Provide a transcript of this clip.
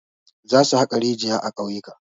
Zasu haƙa rijiya a ƙauyuka.